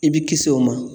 I bi kisi o ma